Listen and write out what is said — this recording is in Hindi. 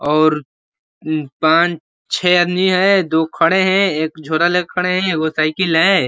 और पान छे आदमी हैं। दो खड़े हैं एक झोरा ले के खड़े है। एगो साइकिल है।